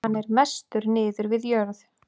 Hann er mestur niður við jörð.